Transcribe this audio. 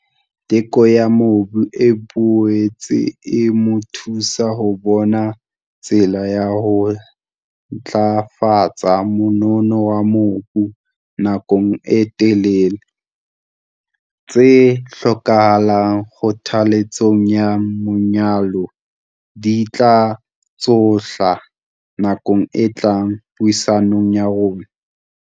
Teko ya mobu e boetse e mo thusa ho bona tsela ya ho ntlafatsa monono wa mobu nakong e telele. Tse hlokahalang kgothalletsong ya manyolo di tla tshohlwa nakong e tlang puisanong ya rona.